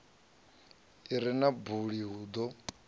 i re na buli ḓo